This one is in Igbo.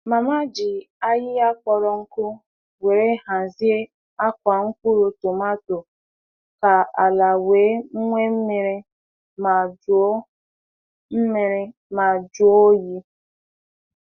Mama ji ahịhịa kpọrọ nkụ were hazie akwà mkpụrụ tômaatò ka ala wee nwee mmiri ma jùo mmiri ma jùo ọ́yị.